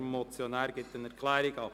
Der Motionär gibt eine Erklärung ab.